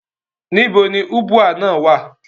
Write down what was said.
Níbo ni Ubwa naa wa?